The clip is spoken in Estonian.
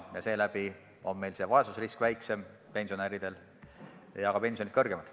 Seeläbi on meil pensionäride vaesusrisk väiksem ja ka pensionid suuremad.